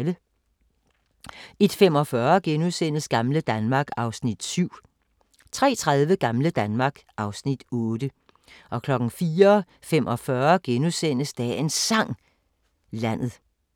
01:45: Gamle Danmark (Afs. 7)* 03:30: Gamle Danmark (Afs. 8) 04:45: Dagens Sang: Landet *